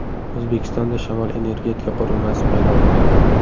O‘zbekistonda shamol-energetika qurilmasi paydo bo‘ladi.